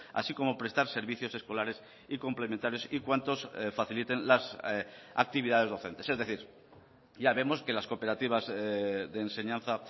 así como prestar servicios escolares y complementarios y cuantos faciliten las actividades docentes es decir ya vemos que las cooperativas de enseñanza